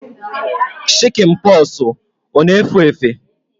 Shikin poxu ọ na efe efe?